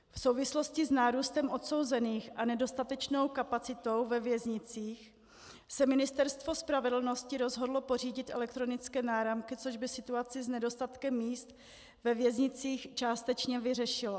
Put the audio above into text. V souvislosti s nárůstem odsouzených a nedostatečnou kapacitou ve věznicích se Ministerstvo spravedlnosti rozhodlo pořídit elektronické náramky, což by situaci s nedostatkem míst ve věznicích částečně vyřešilo.